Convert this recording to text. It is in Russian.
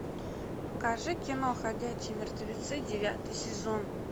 покажи кино ходячие мертвецы девятый сезон